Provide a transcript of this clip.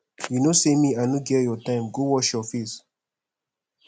you no say me i no get your time go wash your face